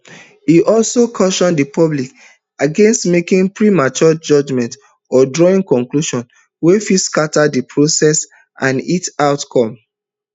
e also caution di public against making premature judgments or drawing conclusions wey fit scata di process and its outcome